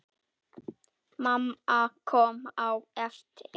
Mamma kom á eftir.